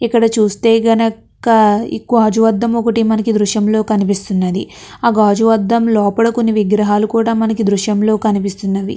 ఇక్కడ చూస్తే గనక ఎక్కువ గాజు అద్దం ఒకటి మనకి దృశంలో కనిపిస్తున్నది. ఆ గాజు అద్దం లోపట విగ్రహాలు కూడా మనకి దృశ్యంలో కనిపిస్తున్నది.